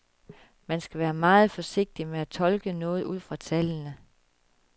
Man skal være meget forsigtig med at tolke noget ud fra tallene.